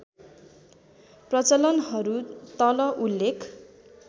प्रचलनहरू तल उल्लेख